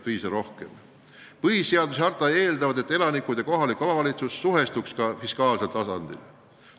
Põhiseadus ja Euroopa kohaliku omavalitsuse harta eeldavad, et elanikud ja kohalik omavalitsus peaksid suhestuma ka fiskaalsel tasandil.